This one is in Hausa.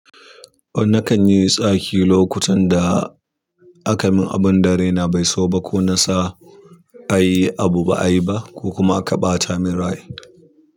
Nakan yi tsaki lokutan da aka min abun da raina bai so ba, ko na sa a yi abu ba a yi ba, ko kuma aka ɓata min rai.